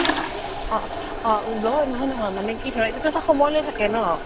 অ লয় নহয় নহয় মানে কি ধৰা এইটো তো এটা সময় লৈকে থাকে ন